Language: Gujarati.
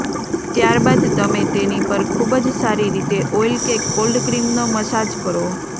ત્યારબાદ તમે તેની પર ખુબ જ સારી રીતે ઓઇલ કે કોલ્ડ ક્રીમનો મસાજ કરો